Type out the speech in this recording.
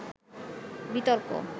বিতর্ক